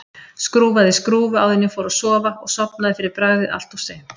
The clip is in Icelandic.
Skrúfaði skrúfu áður en ég fór að sofa og sofnaði fyrir bragðið allt of seint.